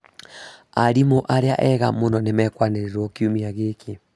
Arimũ arĩa ega mũno nĩmekwanĩrĩrwo kiumia gĩkĩ